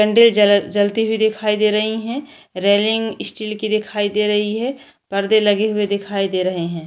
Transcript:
कंडे जल जलती हुई दिखाई दे रही है रेलिंग स्टील की दिखाई दे रही है पर्दे लगे हुए दिखाई दे रहे है।